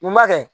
Mun ma kɛ